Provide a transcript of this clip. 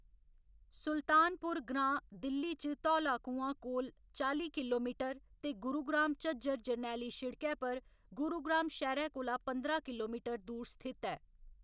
सुल्तानपुर ग्रांऽ दिल्ली च धौला कुंआ कोला चाली किलोमीटर ते गुरुग्राम झज्जर जरनैली शिड़कै पर गुरुग्राम शैह्‌रै कोला पंदरां किलोमीटर दूर स्थित ऐ।